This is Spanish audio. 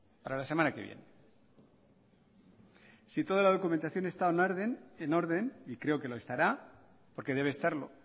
para la semana que viene si toda la documentación está en orden y creo que lo estará porque debe estarlo